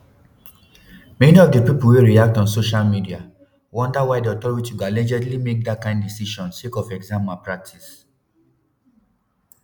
many of di pipo wey react on social media wonder why di authority go allegedly make dat kain decision sake of exam malpractice